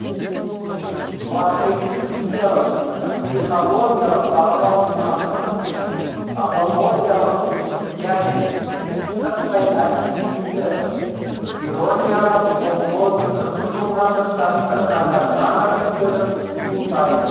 сураткердің идеялық психологиялық бағалау ұстанымы апологиялық және сырттай объективті ирониялық болуы мүмкін болғандықтан бірқатар жанр түрлері туындайды